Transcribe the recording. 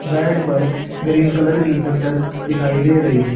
bed पर green colour की चद्दर दिखाई दे रही--